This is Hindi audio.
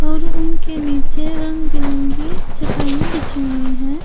और उनके नीचे रंग बिरंगी चटाइयां बिछी हुई हैं।